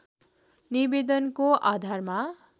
निवेदनको आधारमा